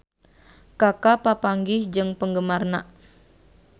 Kaka papanggih jeung penggemarna